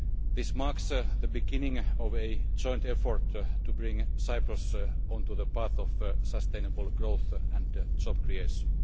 This marks the beginning of a joint effort to bring Cyprus onto the path of sustainable growth and job creation.